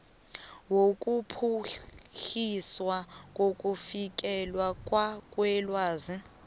wokuphuhliswa kokufikelelwa kwelwazi